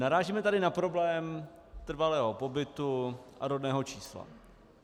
Narážíme tady na problém trvalého pobytu a rodného čísla.